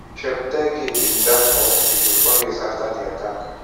cheptegei bin die for hospital four days afta di attack.